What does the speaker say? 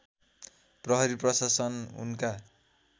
प्रहरी प्रशासन उनका